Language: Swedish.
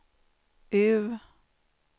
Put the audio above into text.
U